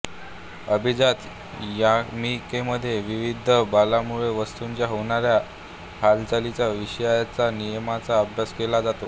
अभिजात यामिकीमध्ये विविध बलांमुळे वस्तुंच्या होणाऱ्या हालचालींच्या विषयीच्या नियमांचा अभ्यास केला जातो